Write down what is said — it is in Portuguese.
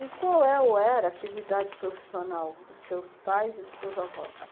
E qual é ou era a atividade profissional dos seus pais e dos seus avós?